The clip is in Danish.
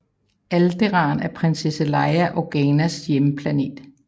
Alderaan er prinsesse Leia Organas hjemplanet